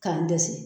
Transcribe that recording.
K'an dɛsɛ